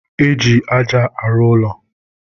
e ji aja arụ ụlọ.